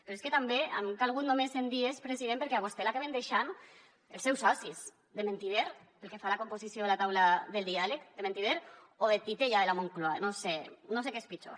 però és que també han calgut només cent dies president perquè a vostè l’acaben deixant els seus socis de mentider pel que fa a la composició de la taula del diàleg de mentider o de titella de la moncloa no sé no sé què és pitjor